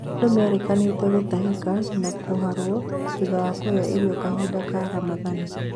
Andũ merĩkanĩte gũtahika na kũharũo thutha wa kũria irio kahinda ka Ramathani